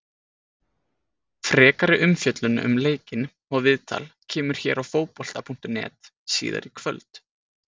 Frekari umfjöllun um leikinn og viðtal kemur hér á Fótbolta.net síðar í kvöld.